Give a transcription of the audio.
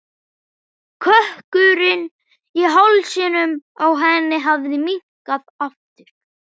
Kökkurinn í hálsinum á henni hafði minnkað aftur.